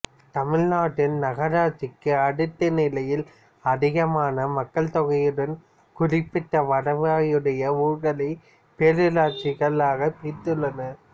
தமிழ்நாட்டில் நகராட்சிக்கு அடுத்த நிலையில் அதிகமான மக்கள் தொகையுடன் குறிப்பிட்ட வருவாயுடைய ஊர்களை பேரூராட்சிகளாகப் பிரித்துள்ளனர்